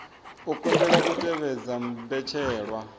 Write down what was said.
a kundelwa u tevhedza mbetshelwa